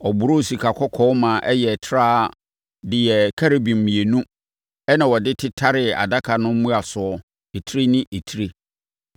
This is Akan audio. Ɔboroo sikakɔkɔɔ ma ɛyɛɛ trawa de yɛɛ Kerubim mmienu ɛnna ɔde tetaree adaka no mmuasoɔ etire ne etire.